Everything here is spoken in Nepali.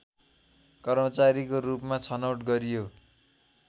कर्मचारीको रूपमा छनौट गरियो